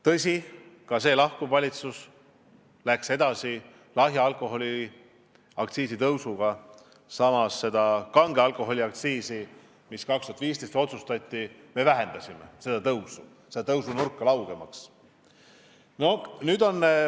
Tõsi, ka lahkuv valitsus läks edasi lahja alkoholi aktsiisi tõstmisega, samas seda kange alkoholi aktsiisi tõusunurka, mis 2015. aastal otsustati, me vähendasime laugemaks.